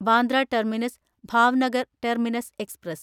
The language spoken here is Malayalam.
Bandra terminus Bhavnagar terminus express